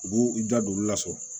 U b'u da don olu la fɔlɔ